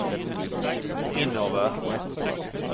innover